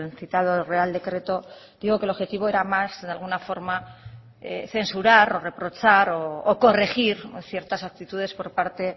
citado real decreto digo que el objetivo era más de alguna forma censurar o reprochar o corregir ciertas actitudes por parte